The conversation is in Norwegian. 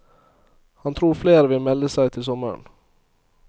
Han tror flere vil melde seg til sommeren.